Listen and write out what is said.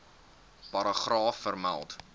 paragraaf vermeld